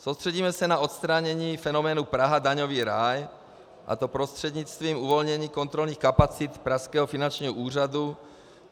Soustředíme se na odstranění fenoménu Praha - daňový ráj, a to prostřednictvím uvolnění kontrolních kapacit pražského finančního úřadu.